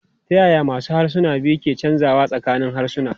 Ta yaya masu harsuna biyu ke canzawa tsakanin harsuna?